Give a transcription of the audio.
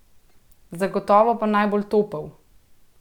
Zagotovo pa najbolj topel!